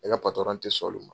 Ne ka patɔrɔn te sɔn olu ma.